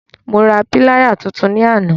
Mo ra píláyà tuntun ní àná.